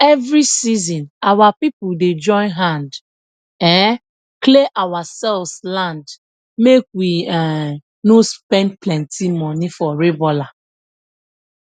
every season our people dey join hand um clear ourselves land make we um no spend plenty money for rabouler